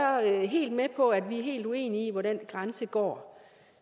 helt med på at vi er helt uenige om hvor den grænse går